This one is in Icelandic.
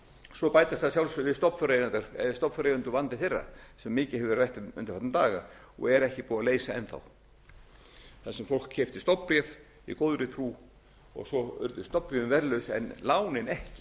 svo bætast að sjálfsögðu við stofnfjáreigendur og vandi þeirra sem mikið hefur verið rætt um undanfarna daga og er ekki búið að leysa enn þá þar sem fólk keypti stofnbréf í góðri trú og svo urðu stofnbréfin verðlaus en lánin ekki